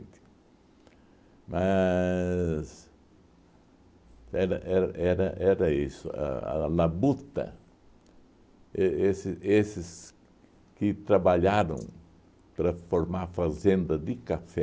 Mas era era era era isso, a a labuta, e esse esses que trabalharam para formar a fazenda de café,